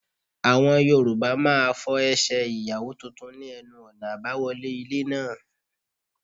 Àwọn Yorùbá máa fọ Ẹsẹ̀ Ìyàwó tuntun ní ẹnu ọ̀nà àbáwọlé ilé náà.